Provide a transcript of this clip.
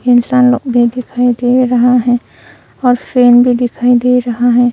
इंसान लोग भी दिखाई दे रहा है और फैन भी दिखाई दे रहा है।